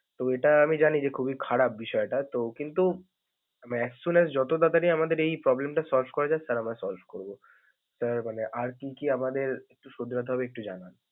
তো এটা আমি জানি যে খুবই খারাপ বিষয়টা তো, কিন্তু as soon as যত তারাতারি আমাদের এই problem টা solve করা যায়, sir আমরা solve করব. sir মানে আর কি কি আমাদের শুধরাতে হবে একটু জানান।